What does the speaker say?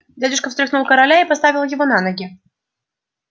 дядюшка встряхнул короля и поставил его на ноги